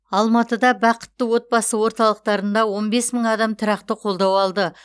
алматыда бақытты отбасы орталықтарында он бес мың адам тұрақты қолдау алды